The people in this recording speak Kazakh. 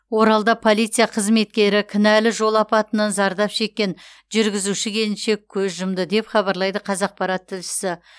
оралда полиция қызметкері кінәлі жол апатынан зардап шеккен жүргізуші келіншек көз жұмды деп хабарлайды қазақпарат тілшісі